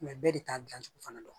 bɛɛ de t'a dilancogo fana dɔn